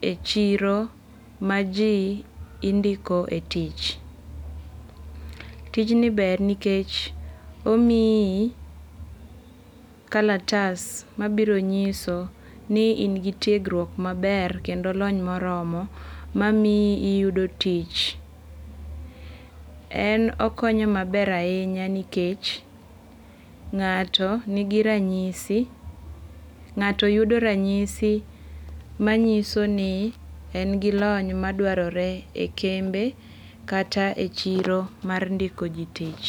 e chiro maji indiko e tich. Tijni ber nikech omiyi kalatas mabiro nyiso ni in gi tiegruok maber kendo lony moromo mamiyo iyudo tich. En okonyo maber ahinya nikech ng'ato nigiranyisi, ng'ato yudo ranyisi manyiso ni en gilony madwarore e kembe, kata e chiro mar ndikoji tich.